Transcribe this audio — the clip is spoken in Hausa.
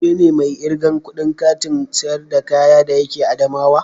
Ke ne mai irgan kudin Kantin sayar da kaya de yake adamawa?